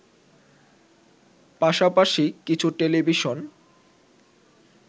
পাশাপাশি কিছু টেলিভিশন